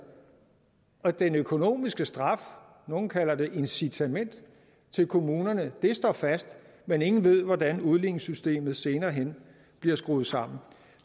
og den økonomiske straf nogle kalder det incitamentet til kommunerne står fast men ingen ved hvordan udligningssystemet senere hen bliver skruet sammen